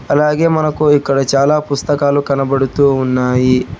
అలాగే మనకు ఇక్కడ చాలా పుస్తకాలు కనబడుతూ ఉన్నాయి.